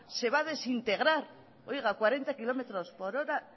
se va a desintegrar oiga a cuarenta kilómetros por hora